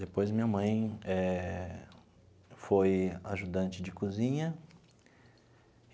Depois, minha mãe eh foi ajudante de cozinha.